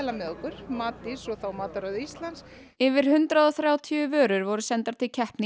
með okkur Matís og Matarauð Íslands yfir hundrað og þrjátíu vörur voru sendar til keppni í